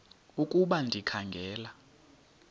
ukuba ndikha ngela